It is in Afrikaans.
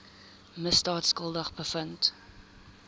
misdaad skuldig bevind